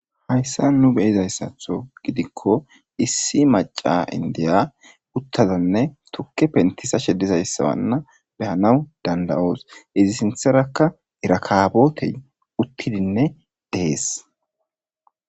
Hayssa nu beyizayssatho gidikko issi maca indiya uttazanne tukke penttisa shedizayssa wanna behanaw danda'oos izi sinththerakka irakabotey uttidinne deees.